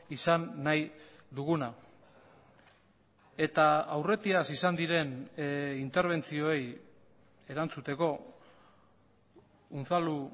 izan nahi duguna eta aurretiaz izan diren interbentzioei erantzuteko unzalu